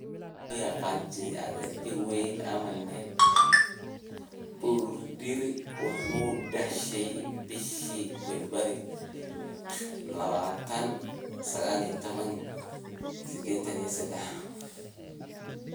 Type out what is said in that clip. Loo yaqaan sidii adhijir weyn ama nebi, Budiri wuxuu dhashey bishii Febraayo 20, 1983.